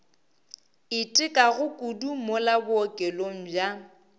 itekago kudu mola bookelong bja